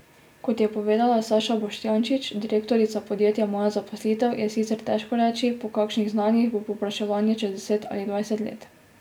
Kot je povedala Saša Boštjančič, direktorica podjetja Moja zaposlitev, je sicer težko reči, po kakšnih znanjih bo povpraševanje čez deset ali dvajset let.